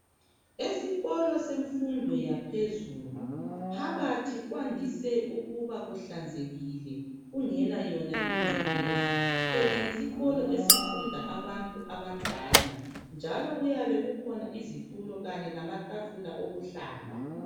Esikolo semfundo yaphezulu phakathi kwandise ukuba kuhlanzekile kungelayona ingcekeza phela yisikolo esifunds abantu abadala njalo kuyabekhona izitulo kanye lamatafula okuhlala